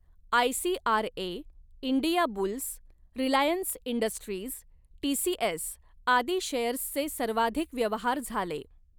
ICRA, India Bulls, Reliance Industries, TCS आदी शेअर्सचे सर्वाधिक व्यवहार झाले.